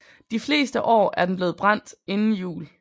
De fleste år er den blevet brændt inden jul